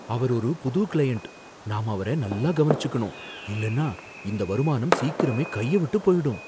அவர் ஒரு புது க்ளையண்ட், நாம அவர நல்லா கவனிச்சுக்கனும் இல்லைனா இந்த வருமானம் சீக்கிரமே கைய விட்டுப் போயிடும்.